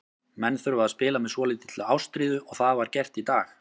Menn þurfa að spila með svolítilli ástríðu og það var gert í dag.